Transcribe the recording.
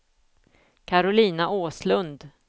Karolina Åslund